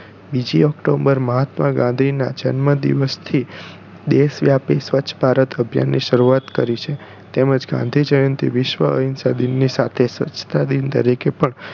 બીજી october મહાત્મા ગાંધી ના જન્મ દિવસ થી દેશવ્યાપી સ્વચ્છ ભારત અભિયાન ની શરૂઆત કરી છે તેમજ ગાંધી જયંતિ વિશ્વ અહિંસા દિવસ સાથે સ્વચ્છતા દિન તરીકે પણ